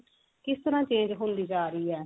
ਕਿਸ ਤਰਾਂ change ਹੁੰਦੀ ਜਾ ਰਹੀ ਏ